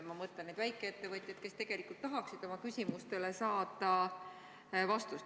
Ma mõtlen neid väikeettevõtjaid, kes tegelikult tahaksid oma küsimustele vastuseid saada.